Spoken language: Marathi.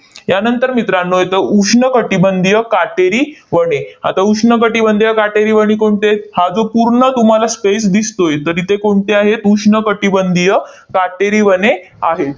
यानंतर मित्रांनो येतो, उष्ण कटिबंधीय काटेरी वने. आता उष्ण कटिबंधीय काटेरी वने कोणती आहेत? हा जो पूर्ण तुम्हाला space दिसतोय, तर तिथे कोणती आहेत? उष्ण कटिबंधीय काटेरी वने आहेत.